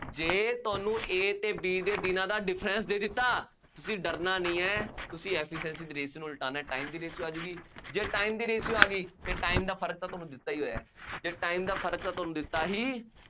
ਜੇ ਤੁਹਾਨੂੰ A ਅਤੇ B ਦੇ ਦਿਨਾਂ ਦਾ difference ਦੇ ਦਿੱਤਾ, ਤੁਸੀਂ ਡਰਨਾ ਨਹੀਂ ਹੈ, ਤੁਸੀਂ efficiency ਦੀ ratio ਨੂੰ ਉਲਟਾਉਣਾ, time ਦੀ ratio ਆ ਜਾਊਗੀ, ਜੇ time ਦੀ ratio ਆ ਗਈ ਫੇਰ time ਦਾ ਫਰਕ ਤਾਂ ਤੁਹਾਨੂੰ ਦਿੱਤਾ ਹੀ ਹੋਇਆ, ਜੇ time ਦਾ ਫਰਕ ਤਾਂ ਤੁਹਾਨੂੰ ਦਿੱਤਾ ਹੀ